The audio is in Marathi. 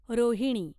रोहिणी